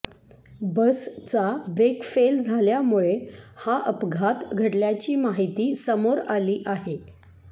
बसचा brake fail झाल्यामुळे हा अपघात घडल्याची माहिती समोर आली आहे